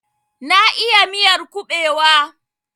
Na iya miyar kubewa.